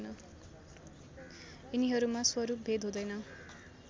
यिनीहरूमा स्वरूपभेद हुँदैन